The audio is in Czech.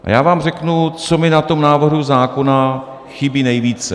A já vám řeknu, co mi na tom návrhu zákona chybí nejvíce.